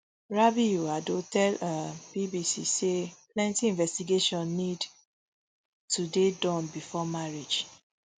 rabiu ado tell um bbc say plenti investigation need to dey don bifor marriage